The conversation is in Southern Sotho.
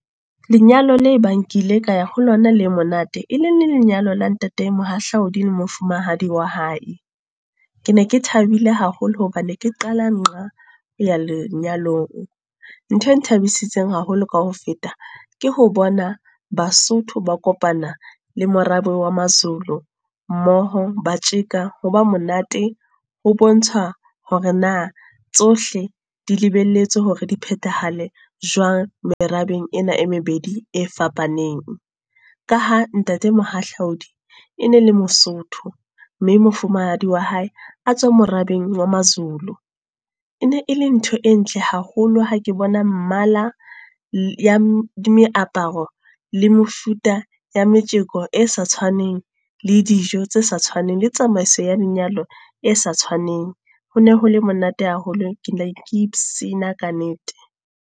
Lenyalo la e bang ke ile ka ya ho lona le monate. E ne e le leng la lenyalo la ntate Mohahlaudi le mofumahadi wa hae. Ke ne ke thabile haholo hobane ke ne ke qala nqa ho ya lenyalong. Nthwe nthabisitseng haholo ka ho feta, ke ho bona Basotho ba kopana le morabe wa ma-Zulu, mmoho ba tjheka ho ba monate. Ho bontsha hore na tsohle di lebelletswe hore di phethahale jwang merabeng ena e mebedi e fapaneng. Ka ha ntate Mohahlaudi e ne le Mosotho mme mofumahadi wa hae a tswa marabeng wa ma-Zulu. E ne e le ntho e ntle haholo ha ke bona mmala ya meaparo le mefuta ya metjeko e sa tshwaneng. Le dijo tse sa tshwaneng, le tsamaiso ya lenyalo e sa tshwaneng. Ho ne hole monate haholo ke ne ke ka nnete.